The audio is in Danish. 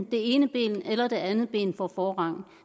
det ene ben eller det andet ben får forrang